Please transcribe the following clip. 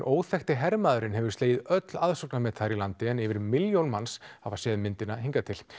óþekkti hermaðurinn hefur slegið öll aðsóknarmet þar í landi en yfir milljón manns hafa séð myndina hingað til